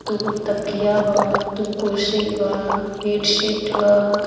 दोगो तकिया बा दो कुर्शी बा बेड शीट बा।